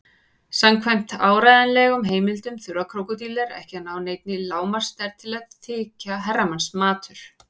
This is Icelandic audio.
Samkvæmt áreiðanlegum heimildum þurfa krókódílar ekki að ná neinni lágmarksstærð til að þykja herramannsmatur.